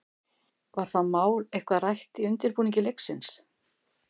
Var það mál eitthvað rætt í undirbúningi leiksins?